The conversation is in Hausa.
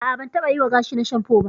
A'a, ban taɓa yiwa gashina shanfo ba.